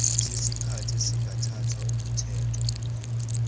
sesikhathi esingathathwa ukuthethwa